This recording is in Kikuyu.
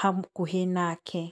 hakuhĩ nake.